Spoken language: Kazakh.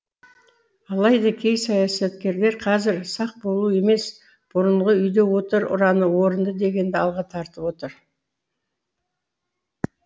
алайда кей саясаткерлер қазір сақ болу емес бұрынғы үйде отыр ұраны орынды дегенді алға тартып отыр